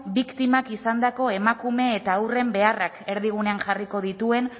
biktimak izandako emakume eta haurren beharrak erdigunean jarriko dituen